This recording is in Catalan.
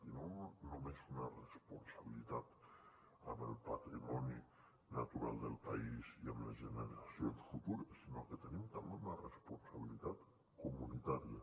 i no només una responsabilitat amb el patrimoni natural del país i amb les generacions futures sinó que tenim també una responsabilitat comunitària